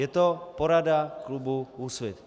Je to porada klubu Úsvit.